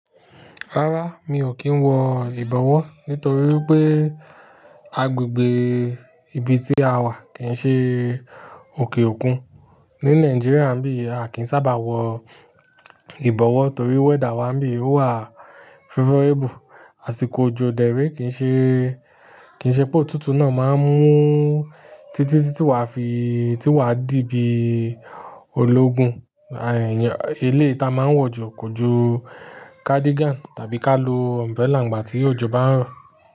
Rárá, mi ò kí ń wọ ìbọwọ́ nítorí pé agbègbè ibi tí a wà kìí ṣe òkè òkun. Ni Nàìjíríà bí a kìí sábà wọ ìbọwọ́ torí wẹ́dà wa bí ò wà favourable. Àsìkò òjò dẹrẹ́ kìí ṣe, kìí ṣe pé òtútù náà máa ń mú títí tí tí wa fi, tí wa dì bí ológun. Eléyi ta a máa ń wọ̀ jù kò ju cardigan tàbí ká lo umbrella ìgbà tí òjò bá ń rọ̀